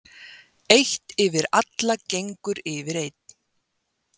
Eitt yfir allagengur yfir einn.